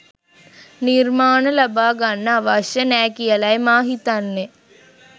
නිර්මාණ ලබා ගන්න අවශ්‍ය නෑ කියලයි මා හිතන්නේ.